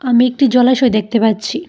আমি একটি জলাশয় দেখতে পাচ্ছি।